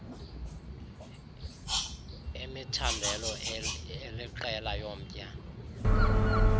imithandelo eliqela yomtya